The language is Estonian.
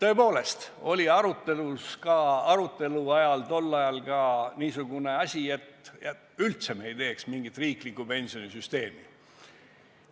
See oli tõepoolest arutelu all ka tol ajal, et vahest me üldse ei kehtestaks mingit riiklikku pensionisüsteemi.